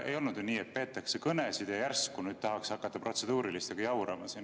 Ei olnud ju nii, et peetakse kõnesid ja järsku tahaks hakata protseduurilistega jaurama.